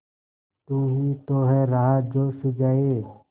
तू ही तो है राह जो सुझाए